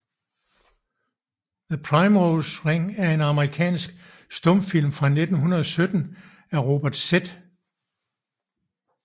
The Primrose Ring er en amerikansk stumfilm fra 1917 af Robert Z